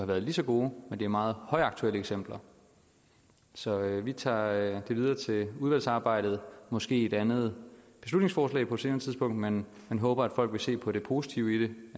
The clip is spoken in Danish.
været lige så gode men det er meget højaktuelle eksempler så vi tager det videre til udvalgsarbejdet måske i et andet beslutningsforslag på et senere tidspunkt men men håber at folk vil se på det positive i det